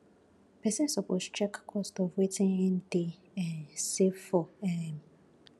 persin suppose check the cost of wetin him de um save for um